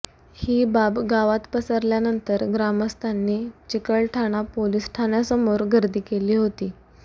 ही बाब गावात पसरल्यानंतर ग्रामस्थांनी चिकलठाणा पोलीस ठाण्यासमोर गर्दी केली होती